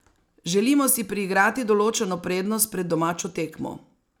Želimo si priigrati določeno prednost pred domačo tekmo.